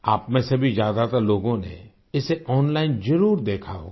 आपमें से भी ज्यादातर लोगों ने इसे ओनलाइन जरुर देखा होगा